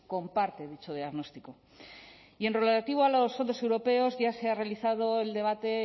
comparte dicho diagnóstico y en lo relativo a los fondos europeos ya se ha realizado el debate